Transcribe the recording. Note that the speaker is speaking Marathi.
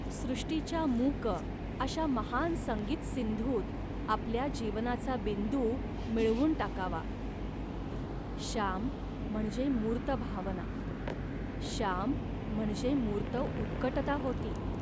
सृष्टीच्या मूक अशा महान संगीत सिंधूत आपल्या जीवनाचा बिंदू मिळवून टाकावा. श्याम म्हणजे मूर्त भावना, श्याम म्हणजे मूर्त उत्कटता होती